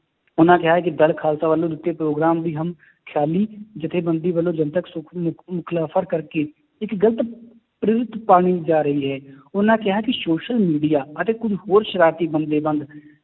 ਉਹਨਾਂ ਕਿਹਾ ਹੈ ਕਿ ਦਲ ਖਾਲਸਾ ਵੱਲੋਂ ਦਿੱਤੇ ਪ੍ਰੋਗਰਾਮ ਦੀ ਹਮ ਖਿਆਲੀ ਜੱਥੇਬੰਦੀ ਵੱਲੋਂ ਜਨਤਕ ਕਰਕੇ ਇੱਕ ਗ਼ਲਤ ਪਾਲੀ ਜਾ ਰਹੀ ਹੈ ਉਹਨਾਂ ਕਿਹਾ ਕਿ social media ਅਤੇ ਕੁੱਝ ਹੋਰ ਸਰਾਰਤੀ